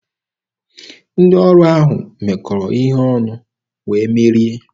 Ndị ọrụ ahụ mekọrọ ihe ọnụ, wee merie.